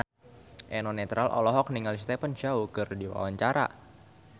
Eno Netral olohok ningali Stephen Chow keur diwawancara